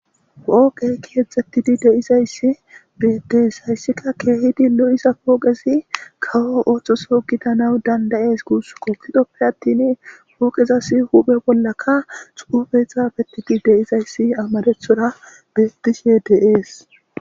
Poqqey keexxettidi deizayssi bedees hayssika keehidi lo7isa poogezi kawo ooththoso gitana dandayes guus qoptidoppe attin pooqezas huphe bollaka xuufe xaabetidi deizayssi amarethora betishe deees